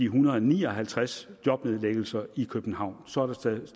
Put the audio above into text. hundrede og ni og halvtreds jobnedlæggelser i københavn så er der taget